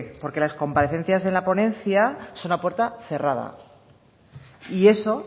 porque las comparecencias de la ponencia son a puerta cerrada y eso